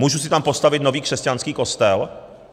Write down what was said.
Můžu si tam postavit nový křesťanský kostel?